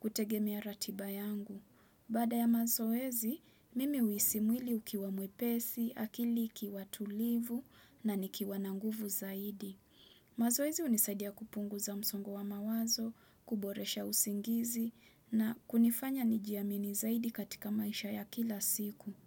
kutegemea ratiba yangu. Baada ya mazoezi, mimi huhisi mwili ukiwa mwepesi, akili ikiwa tulivu na nikiwa na nguvu zaidi. Mazoezi hunisaidia kupunguza msongo wa mawazo, kuboresha usingizi na kunifanya nijiamini zaidi katika maisha ya kila siku.